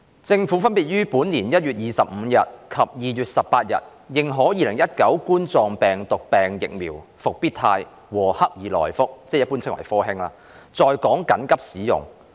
政府分別於本年1月25日及2月18日認可2019冠狀病毒病疫苗"復必泰"和"克爾來福"在港緊急使用。